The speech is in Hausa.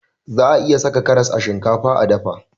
Za'a iya saka karas a shinkafa a dafa.